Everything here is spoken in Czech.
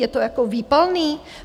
Je to jako výpalné?